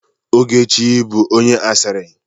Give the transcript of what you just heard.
Ogechi bụ onye asịrị.